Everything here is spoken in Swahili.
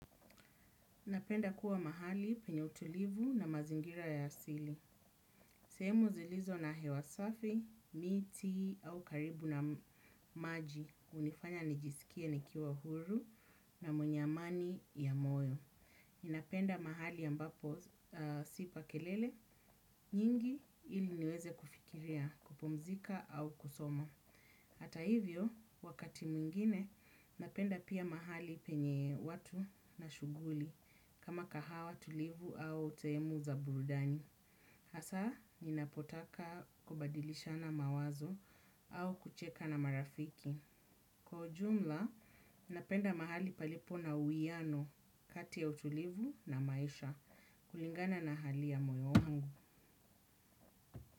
Napenda kuwa mahali penye utulivu na mazingira ya asili. Sehemu zilizo na hewasafi, miti au karibu na maji. Hunifanya nijisikie nikiwa huru na mwenye amani, ya moyo. Ninapenda mahali ya ambapo sipa kelele, nyingi, ili niweze kufikiria, kupumzika au kusoma. Hata hivyo, wakati mwingine, napenda pia mahali penye watu na shughuli. Kama kahawa tulivu au sehemu za burudani. Hasa, ninapotaka, kubadilishana mawazo, au kucheka na marafiki. Kwa ujumla, napenda mahali palipo na uiano kati ya utulivu, na maisha. Kulingana na hali ya moyo wangu.